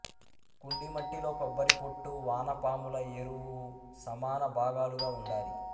కుండీ మట్టిలో కొబ్బరి పొట్టు వానపాముల ఎరువు సమానభాగాలుగా ఉండాలి